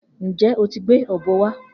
Njẹ o ti gbe ọ̀bọ wa?